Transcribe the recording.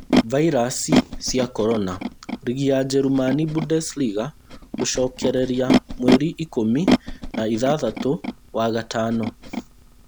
Vairasi cia korona: rigi ya Jerumani Bundesliga gũcokereria mweri ikũmi na ithathatũ wa-gatano